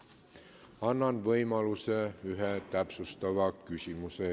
Annan võimaluse esitada üks täpsustav küsimus.